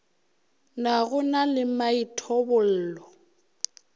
na go na le maithobollo